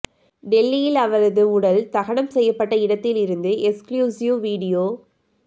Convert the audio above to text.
டெல்லியில் அவரது உடல் தகனம் செய்யப்பட்ட இடத்தில் இருந்து எக்ஸ்க்ளூசிவ் வீடியோ